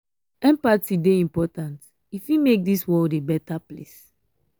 empathy dey important e fit make dis world a beta place.